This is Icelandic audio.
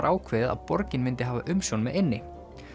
ákveðið að borgin myndi hafa umsjón með eynni